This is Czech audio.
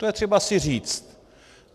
To je třeba si říct.